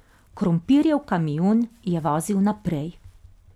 Krompirjev kamion je vozil naprej.